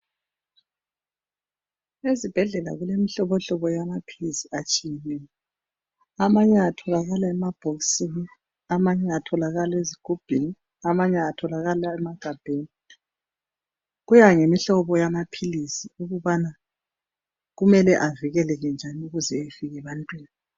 Ezibhedlela kulemihlohlobo yamaphilizi atshiyeneyo. Amanye atholakala emabhokisini amanye atholakala ezigubhini amanye atholakala emagabheni kuya ngemihlobo yamaphilizi ukubana kumele avikeleke njani ukuzeefike ebantwini.